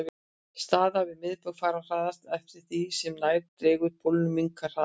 Staðir við miðbaug fara hraðast en eftir því sem nær dregur pólunum minnkar hraðinn.